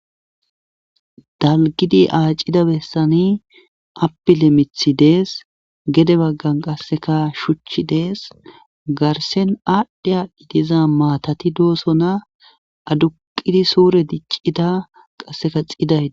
dalgidi aacida bessani apile mithi dees gede baggan qasseka shuchchi dees garsen aadhdhe aadhdhi diza maatati doosona aduqidi suure diccida qasseka xidayi